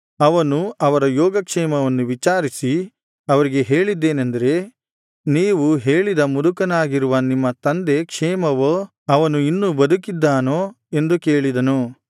ಅವನು ಅವರ ಯೋಗ ಕ್ಷೇಮವನ್ನು ವಿಚಾರಿಸಿ ಅವರಿಗೆ ಹೇಳಿದ್ದೇನೆಂದರೆ ನೀವು ಹೇಳಿದ ಮುದುಕನಾಗಿರುವ ನಿಮ್ಮ ತಂದೆ ಕ್ಷೇಮವೋ ಅವನು ಇನ್ನೂ ಬದುಕಿದ್ದಾನೋ ಎಂದು ಕೇಳಿದನು